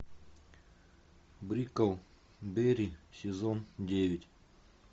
бриклберри сезон девять